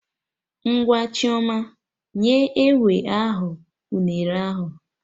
Ngwa Chioma! Nye enwe ahụ unere ahụ!